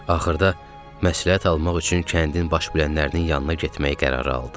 Axırda məsləhət almaq üçün kəndin baş bilənlərinin yanına getməyi qərarə aldı.